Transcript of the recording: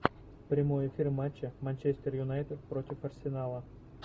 прямой эфир матча манчестер юнайтед против арсенала